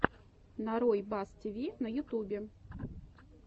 нарой бас тиви на ютубе